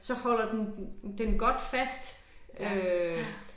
Så holder den den den godt fast øh